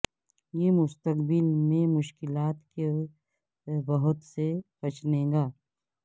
یہ مستقبل میں مشکلات کے بہت سے بچنے گا